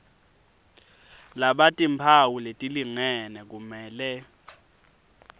labatimphawu letilingene kumele